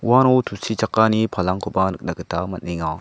uano tusichakani palangkoba nikna gita man·enga.